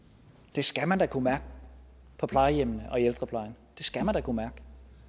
det skal man da kunne mærke på plejehjemmene og i ældreplejen det skal man da kunne mærke